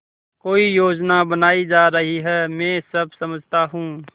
कोई योजना बनाई जा रही है मैं सब समझता हूँ